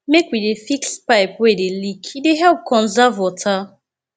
make we dey fix pipe wey dey leak e dey help conserve water